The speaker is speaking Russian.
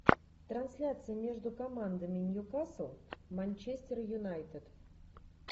трансляция между командами ньюкасл манчестер юнайтед